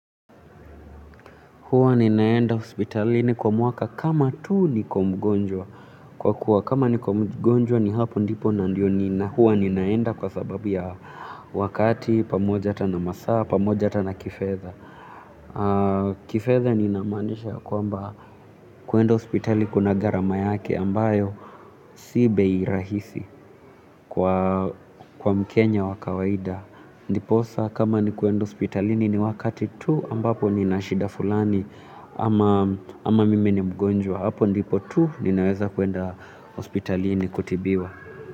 Hua ninaenda hospitalini kwa mwaka kama tuu nikomgonjwa. Kwa kuwa kama nikomgonjwa ni hapo ndipo na ndio nina. Huwa ninaenda kwa sababu ya wakati pamoja hata na masaa, pamoja hatana kifedha. Kifedha ni namaanisha ya kwa mba kwenda hospitali kuna gharama yake ambayo si bei rahisi kwa mkenya wakawaida. Ndiposa kama ni kuenda hospitalini ni wakati tu ambapo ni nashida fulani ama ama mimi ni mgonjwa hapo ndipo tu ninaweza kuenda hospitalini kutibiwa.